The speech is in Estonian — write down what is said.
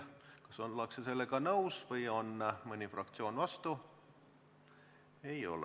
Kas ollakse sellega nõus või on mõni fraktsioon vastu?